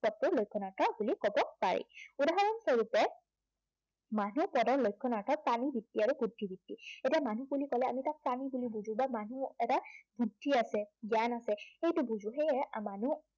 পদটোৰ লক্ষণাৰ্থ বুলি কব পাৰি। উদাহৰণ স্বৰূপে মানুহ পদৰ লক্ষণাৰ্থ। অৰ্থাত প্ৰানী, যুক্তি আৰু বুদ্ধিবৃত্তি। এতিয়া মানুহ বুলি কলে আমি তাক প্ৰানী বুলি বুজো বা মানুহ এটাৰ বুদ্ধি আছে, জ্ঞান আছে, সেইটো বুজো, সেয়ে মানুহ হিচাপে